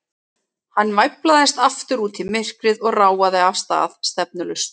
Hann væflaðist aftur út í myrkrið og ráfaði af stað, stefnulaust.